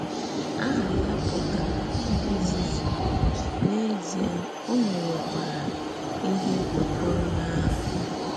Àhà ya pụtara “nzùzù,” n’èzìè, ò mèrèkwàrà íhè kwèkọ̀rọ̀ n’ahà ya.